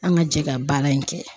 An ka jɛ ka baara in kɛ.